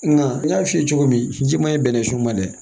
Nka n y'a f'i ye cogo min ji ma ye bɛnnɛ sun ma dɛ